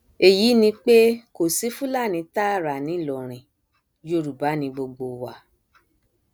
èyí ni pé kò sí fúlàní tààrà ńìlọrin yorùbá ni gbogbo wa